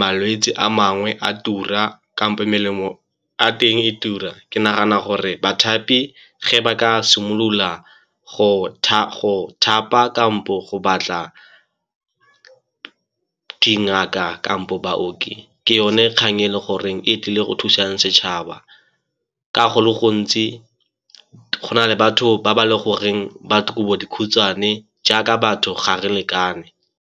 malwetse a mangwe a tura kampo melemo ya teng e tura. Ke nagana gore bathapi ge ba ka simolola go thapa kampo go batla dingaka kampo baoki ke yone kgang e le goreng e tlile go thusang setšhaba, ka go le gontsi go na le batho ba ba le goreng batho kobo dikhutshwane jaaka batho ga re lekane.